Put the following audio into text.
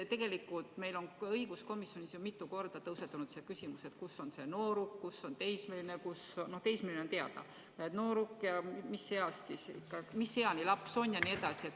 Tegelikult on meil õiguskomisjonis mitu korda tõusetunud küsimus, kes on nooruk, kes on teismeline – no teismeline on teada –, mis eani ollakse laps jne.